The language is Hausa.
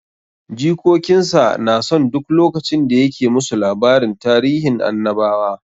Jikokin sa na son duk lokacin da ya ke musu labarin tarihin annabawa.